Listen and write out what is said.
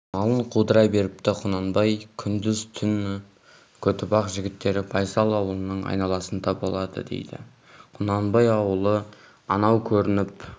малын қудыра беріпті құнанбай күндіз-түн көтібақ жігіттері байсал ауылының айналасында болады дейді құнанбай аулы анау көрініп